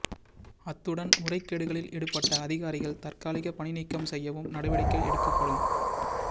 அத்துடன் முறைகேடுகளில் ஈடுபட்ட அதிகாரிகள் தற்காலிக பணி நீக்கம் செய்யவும் நடவடிக்கை எடுக்கப்படும்